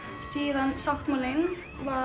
síðan sáttmálinn var